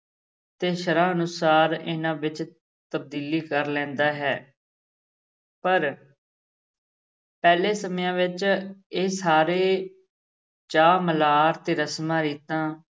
ਤੇ ਸ਼ਰ੍ਹਾ ਅਨੁਸਾਰ ਇਹਨਾਂ ਵਿੱਚ ਤਬਦੀਲੀ ਕਰ ਲੈਂਦਾ ਹੈ ਪਰ ਪਹਿਲੇ ਸਮਿਆਂ ਵਿੱਚ ਇਹ ਸਾਰੇ ਚਾਅ-ਮਲ੍ਹਾਰ ਤੇ ਰਸਮਾਂ-ਰੀਤਾਂ